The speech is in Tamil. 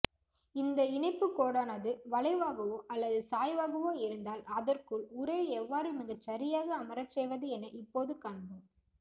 இந்த இணைப்புக்கோடானது வளைவாகவோ அல்லது சாய்வாகவோ இருந்தால் அதற்குள் உரையை எவ்வாறு மிகச்சரியாக அமரச்செய்வது என இப்போது காண்போம்